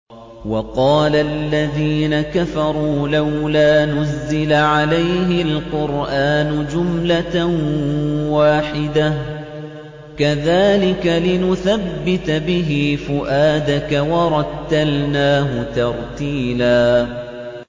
وَقَالَ الَّذِينَ كَفَرُوا لَوْلَا نُزِّلَ عَلَيْهِ الْقُرْآنُ جُمْلَةً وَاحِدَةً ۚ كَذَٰلِكَ لِنُثَبِّتَ بِهِ فُؤَادَكَ ۖ وَرَتَّلْنَاهُ تَرْتِيلًا